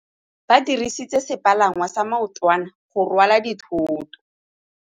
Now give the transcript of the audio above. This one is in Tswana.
Ba dirisitse sepalangwasa maotwana go rwala dithôtô.